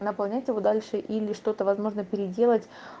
наполнять его дальше или что-то возможно переделать